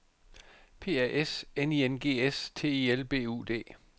P A S N I N G S T I L B U D